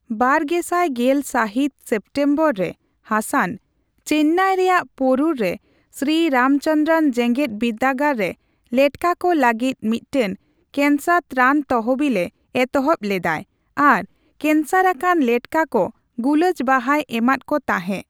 ᱵᱟᱨᱜᱮᱥᱟᱭ ᱜᱮᱞ ᱥᱟᱹᱦᱤᱛ ᱥᱮᱢᱴᱮᱢᱵᱚᱨᱨᱮ ᱦᱟᱥᱟᱱ ᱪᱮᱱᱱᱟᱭ ᱨᱮᱭᱟᱜ ᱯᱳᱨᱩᱨᱨᱮ ᱥᱤᱨᱤ ᱨᱟᱢᱪᱚᱱᱫᱚᱨᱚ ᱡᱮᱜᱮᱫ ᱵᱤᱫᱽᱫᱟᱹᱜᱟᱲ ᱨᱮ ᱞᱮᱴᱠᱟ ᱠᱚ ᱞᱟᱹᱜᱤᱫ ᱢᱤᱫᱴᱟᱝ ᱠᱮᱝᱥᱟᱨ ᱛᱮᱨᱟᱱ ᱛᱚᱦᱚᱵᱤᱞ ᱮ ᱮᱛᱚᱦᱚᱵ ᱞᱮᱫᱟᱭ ᱟᱨ ᱠᱮᱝᱥᱟᱨ ᱟᱠᱟᱱ ᱞᱮᱴᱠᱟᱠᱚ ᱜᱩᱞᱟᱹᱪ ᱵᱟᱦᱟᱭ ᱮᱢᱟᱫ ᱠᱚ ᱛᱟᱸᱦᱮᱜ ᱾